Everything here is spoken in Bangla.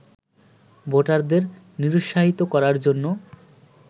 ভোটারদের নিরুৎসাহিত করার জন্য